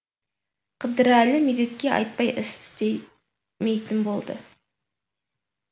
қыдырәлі медетке айтпай іс істемейтін болды